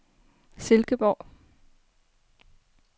Silkeborg